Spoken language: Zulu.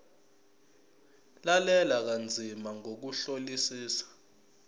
lalela kanzima ngokuhlolisisa